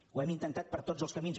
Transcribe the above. ho hem intentat per tots els camins